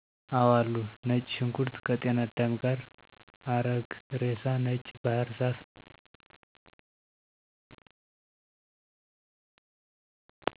አወአሉ። ነጭ ሽንኩርት ከጤናዳም ጋር፣ አረግ ሬሳ፣ ነጭ ባሕር ዛፍ